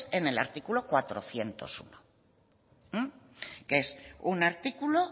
en el artículo cuatrocientos uno que es un artículo